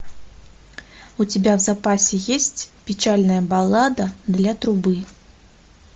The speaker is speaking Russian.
у тебя в запасе есть печальная баллада для трубы